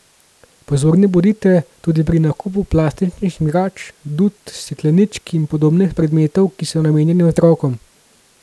Pozorni bodite tudi pri nakupu plastičnih igrač, dud, stekleničk in podobnih predmetov, ki so namenjeni otrokom.